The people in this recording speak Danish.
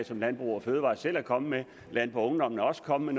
som landbrug fødevarer selv er komme med landboungdom er også kommet